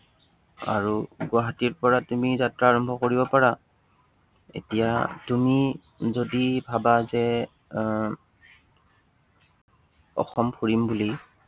আৰু গুৱাহাটীৰ পৰা তুমি যাত্ৰা আৰম্ভ কৰিব পাৰা। এতিয়া তুমি যদি ভাবা যে আহ অসম ফুৰিম বুলি